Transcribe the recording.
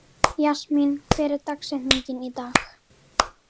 Jasmín, hver er dagsetningin í dag?